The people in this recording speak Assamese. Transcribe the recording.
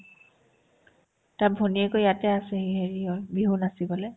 তাৰ ভনীয়েকো ইয়াতে আছে এই হেৰি অত বিহু নাচিবলে